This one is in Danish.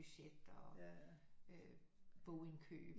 Budget og bogindkøb